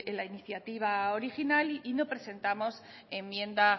la iniciativa original y no presentamos enmienda